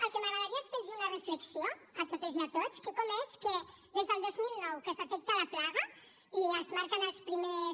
el que m’agradaria és fer los una reflexió a totes i a tots que com és que des del dos mil nou que es detecta la plaga i es marquen els primers